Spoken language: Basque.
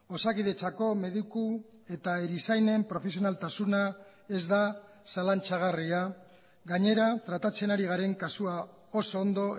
osakidetzako mediku eta erizainen profesionaltasuna ez da zalantzagarria gainera tratatzen ari garen kasua oso ondo